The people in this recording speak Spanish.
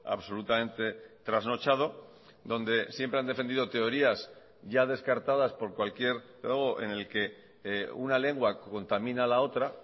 absolutamente trasnochado donde siempre han defendido teorías ya descartadas por cualquier en el que una lengua contamina a la otra